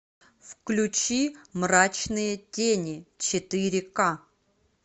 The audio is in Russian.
включи мрачные тени четыре ка